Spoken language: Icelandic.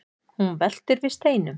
hún veltir við steinum